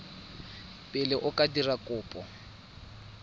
pele o ka dira kopo